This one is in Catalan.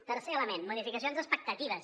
tercer element modificacions d’expectatives